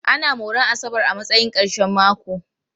Ana moran asabar a matsayin ƙarshen mako.